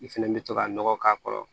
I fɛnɛ bɛ to ka nɔgɔ k'a kɔrɔ